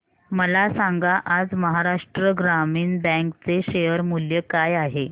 मला सांगा आज महाराष्ट्र ग्रामीण बँक चे शेअर मूल्य काय आहे